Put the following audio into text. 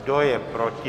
Kdo je proti?